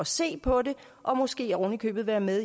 se på det og måske oven i købet være med